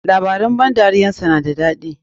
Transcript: Labaran ban dariyar sa na da dadi.